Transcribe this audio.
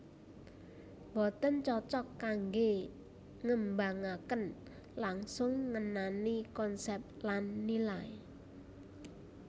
Boten cocok kanggé ngembangaken langsung ngenani konsep lan nilai